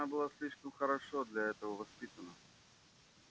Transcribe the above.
она была слишком хорошо для этого воспитана